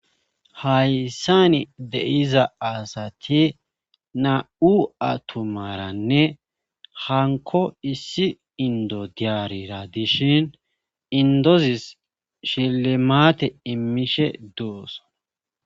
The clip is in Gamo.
Hayssani deiza asati na'u atomaranne hanko issi indodiyarira dishin indozis shilemate immishe duus.